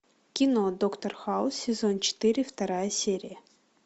кино доктор хаус сезон четыре вторая серия